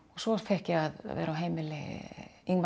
svo fékk ég að vera á heimili